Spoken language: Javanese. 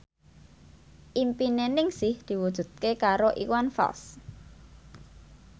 impine Ningsih diwujudke karo Iwan Fals